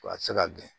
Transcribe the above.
Wa a tɛ se ka gɛn